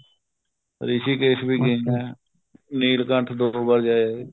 ਰਿਸ਼ੀਕੇਸ਼ ਵੀ ਗਿਆ ਜੀ ਮੈਂ ਨੀਲਕੰਠ ਵੀ ਦੋ ਵਾਰ ਜਾ ਆਇਆ